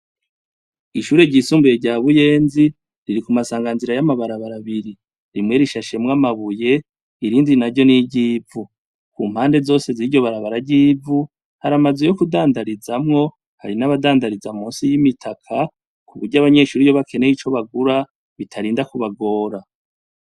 Ishure ry' isumbuye rya Buyenzi riri kumasanganzira y' amabarabar' abiri, rimwe rishashemw' amabuye, irindi naryo ni ry'ivu, kumpande zose ziryo barabara ry' ivu, har' amazu yo kudandarizamwo, hari naba dandariza munsi y' imitaka kubury' abanyeshure bakeney' ico bagura bitarinda kubagora.